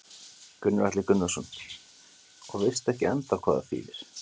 Gunnar Atli Gunnarsson: Og veist ekki ennþá hvað það þýðir?